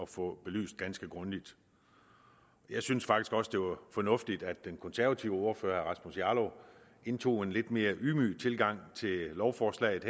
få belyst ganske grundigt jeg synes faktisk også det var fornuftigt at den konservative ordfører herre rasmus jarlov indtog en lidt mere ydmyg tilgang til lovforslaget